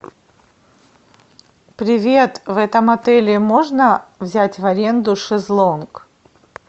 привет в этом отеле можно взять в аренду шезлонг